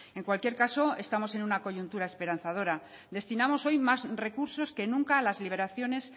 en cualquier caso estamos en una coyuntura esperanzadora destinamos hoy más recursos que nunca a las liberaciones